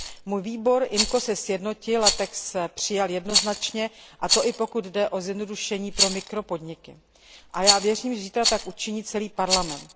Můj výbor IMCO se sjednotil a text přijal jednoznačně, a to i pokud jde o zjednodušení pro mikropodniky. A já věřím, že zítra tak učiní celý Parlament.